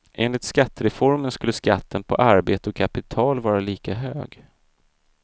Enligt skattereformen skulle skatten på arbete och kapital vara lika hög.